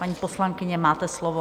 Paní poslankyně, máte slovo.